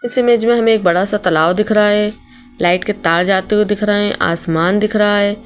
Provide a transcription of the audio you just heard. इस इमेज में हमें एक बड़ा सा तलाव दिख रहा है लाइट के तार जाते हुए दिख रहे हैं आसमान दिख रहा है।